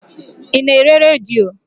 Ị na-ere redio?